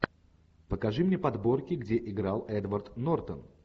покажи мне подборки где играл эдвард нортон